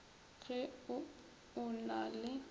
ge o o na le